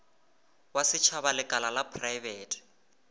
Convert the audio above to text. wa setšhaba lekala la praebete